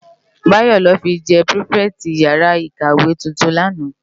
Bayo lò fi jè pirifèti iyàrá ikáwé tútún làná